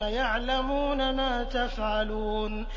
يَعْلَمُونَ مَا تَفْعَلُونَ